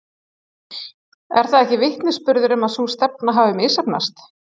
Er það ekki vitnisburður um að sú stefna hafi misheppnast?